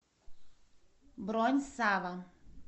бронь сава